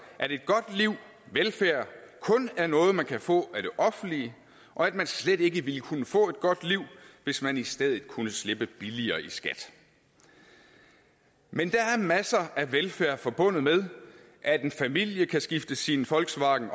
at et godt liv og velfærd kun er noget man kan få af det offentlige og at man slet ikke ville kunne få et godt liv hvis man i stedet kunne slippe billigere i skat men der er masser af velfærd forbundet med at en familie kan skifte sin volkswagen